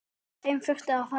Þeim þurfi að fækka.